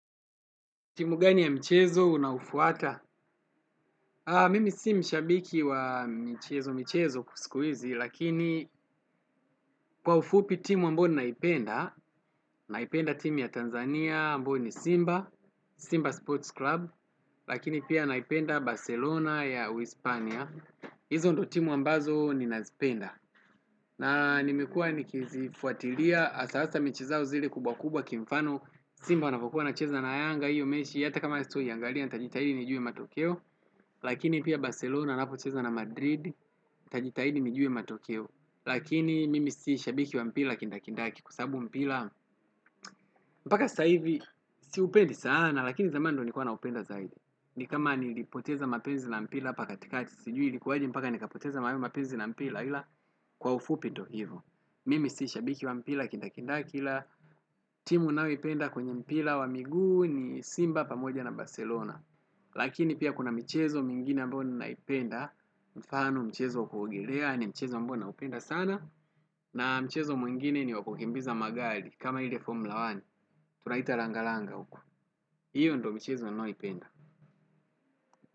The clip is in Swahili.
Timu gani ya michezo unaufwata? Mimi si mshabiki wa michezo michezo siku hizi lakini, kwa ufupi timu ambao ninaipenda naipenda timu ya Tanzania ambayo ni Simba, Simba Sports Club. Lakini pia naipenda Barcelona ya Uispania. Hizo ndo timu ambazo ninazipenda. Nanimekua nikizifuatilia hasahasa mechi zao zile kubwa kubwa kimfano Simba wanavyokuwa wanacheza na yanga hiyo mechi hata kama sitauangalia nitajitahidi nijue matokeo lakini pia Barcelona napocheza na Madrid. Tajitahidi nijue matokeo lakini mimi si shabiki wa mpira kindakindaki kwa sababu mpira mpaka saizi siupendi sana lakini zamani ndo nilikuwa naupenda zaidi, nikama nilipoteza mapenzi na mpira hapa katikati, sijui ilikuwa aje mpaka nikapoteza haya mapenzi na mpira ila kwa ufupi ndio hivyo, mimi si shabiki wa mpira wa kindakinda ila timu ninaoipenda kwenye mpira wa miguu ni Simba pamoja na Barcelona. Lakini pia kuna michezo mingine ambao ninaipenda. Mfano mchezo wa kuogelea ni mchezo ambao naupenda sana. Na mchezo mwingine ni wakukimbiza magari. Kama ile formula moja tunaita langa langa huku. Hiyo ndio mchezo ninaoipenda.